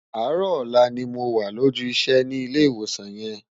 Áàrò òlà ni mó wá lójú isè ni Ilè Iwósán yèn